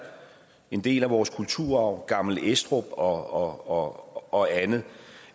en del af vores kulturarv gammel estrup og og andet